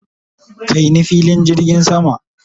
kai ni filin jirgin sama!